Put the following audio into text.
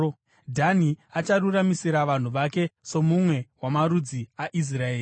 “Dhani acharuramisira vanhu vake somumwe wamarudzi aIsraeri.